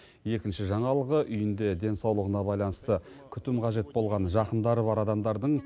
екінші жаңалығы үйінде денсаулығына байланысты күтім қажет болған жақындары бар адамдардың